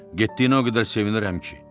Getdiyinə o qədər sevinirəm ki.